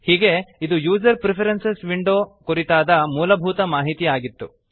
ಹೀಗೆ ಇದು user preferences window ಕುರಿತಾದ ಮೂಲಭೂತ ಮಾಹಿತಿ ಆಗಿತ್ತು